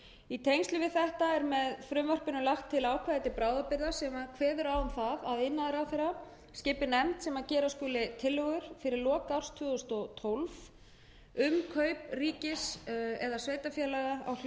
í tengslum við þetta er með frumvarpinu lagt til að ákvæði til bráðabirgða sem kveður á um það að iðnaðarráðherra skipi nefnd sem gera skuli tillögur fyrir lok árs tvö þúsund og tólf um kaup ríkis eða sveitarfélaga á hlut